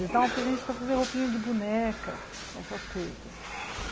Eles davam para a gente para fazer roupinha de boneca, essas coisas.